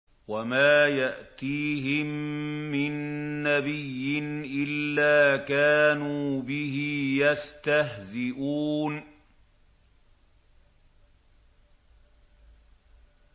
وَمَا يَأْتِيهِم مِّن نَّبِيٍّ إِلَّا كَانُوا بِهِ يَسْتَهْزِئُونَ